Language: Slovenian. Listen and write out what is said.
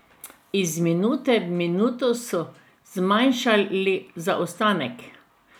Iz minute v minuto so manjšali zaostanek.